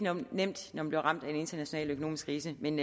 nemt når man bliver ramt af en international økonomisk krise men